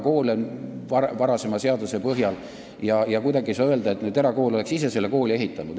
Kuidagi ei saa öelda, nagu erakool oleks ise selle kooli ehitanud.